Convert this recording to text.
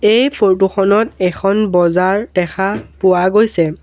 এই ফটো খনত এখন বজাৰ দেখা পোৱা গৈছে।